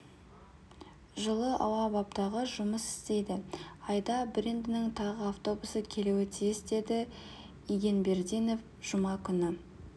жылы ауа баптағыш жұмыс істейді айда брендінің тағы автобусы келуі тиіс деді игенбердинов жұма күні